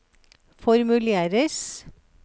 formuleres